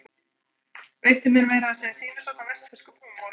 Veitti mér meira að segja sýnishorn af vestfirskum húmor.